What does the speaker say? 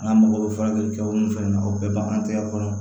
N'a mago bɛ furakɛli kɛ o ni fɛn na o bɛɛ bɛ an tɛgɛ kɔnɔ